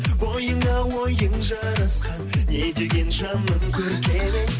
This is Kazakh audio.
бойыңа ойың жарасқан не деген жаным көркем едің